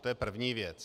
To je první věc.